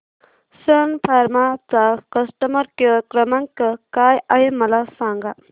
सन फार्मा चा customer care क्रमांक काय आहे मला सांगा